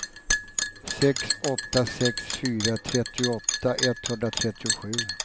sex åtta sex fyra trettioåtta etthundratrettiosju